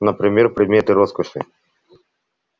например предметы роскоши